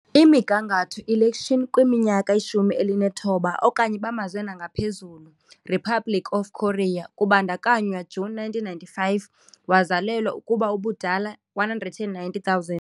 Imigangatho Election kwiminyaka 19 okanye bamazwe ngaphezulu Republic of Korea, kubandakanywa June 1995 wazalelwa ukuba ubudala 190 000.